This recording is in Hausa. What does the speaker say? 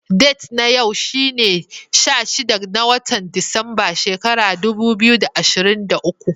Data na yau shine sha shida, na wotan Disamba, shekaran dubu biyu da ashirin da uku.